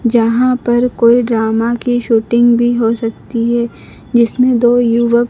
जहां पर कोई ड्रामा की शूटिंग भी हो सकती है जिसमें दो युवाक--